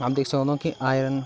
हम देख सक्दो की आयरन --